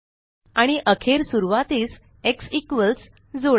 आणि अखेर सुरवातीस एक्स इक्वॉल्स जोडा